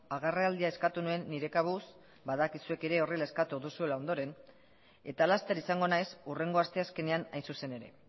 agerraldia eskatu nuen nire kabuz badakit zuek ere horrela eskatu duzuela ondoren eta laster izango naiz hurrengo asteazkenean hain zuzen ere